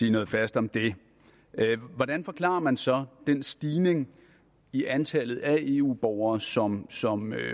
sige noget fast om det hvordan forklarer man så den stigning i antallet af eu borgere som som